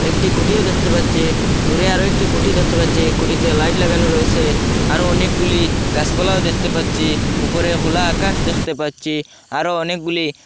একটি খুঁঠিও দেখতে পাচ্ছি দূরে আরও একটি খুঁঠি দেখতে পাচ্ছি খুঁঠিতে লাইট লাগানো রয়েসে আরও অনেকগুলি গাছপালাও দেখতে পাচ্ছি উপরে খোলা আকাশ দেখতে পাচ্ছি আরও অনেকগুলি --